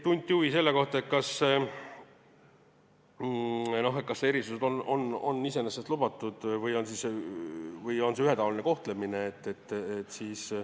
Tunti huvi selle vastu, kas erandid on iseenesest lubatud või on see ühetaoline kohtlemine.